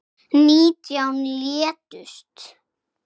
Nítján létust.